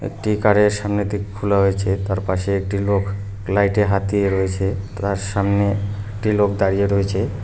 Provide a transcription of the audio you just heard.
একটি কারের এর সামনের দিক খোলা হয়েছে তার পাশে একটি লোক লাইটে এ হাত দিয়ে রয়েছে তার সামনে একটি লোক দাঁড়িয়ে রয়েছে।